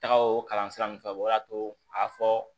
Taga o kalan sira ninnu fɛ o y'a to a fɔ